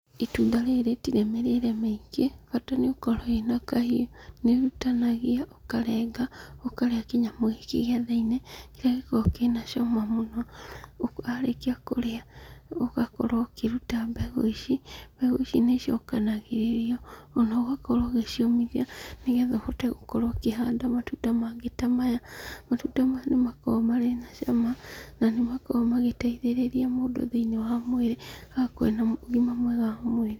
Itunda rĩrĩ rĩtirĩ mĩrĩre mĩingĩ bata nĩ ũkorwo wĩna kahiũ. Rĩrutanagio ũkarenga ũkarĩa kĩnyamũ gĩkĩ kĩa thĩinĩ kĩrĩa gĩkoragwo kĩna cama mũno. Warĩkia kũrĩa ũgakorwo ũkĩruta mbegũ ici, mbegũ ici nĩ icokanagĩrĩrio ũgakorwo ũgĩciũmithia, nĩguo ũgakorwo ũkĩhanda matunda mangĩ ta maya. Matunda maya nĩmakoragwo marĩ na cama nanĩ makoragwo magĩteithĩrĩria mũndũ thĩiniĩ wa mwĩrĩ agakorwo arĩ na ũgima mwega wa mwĩrĩ.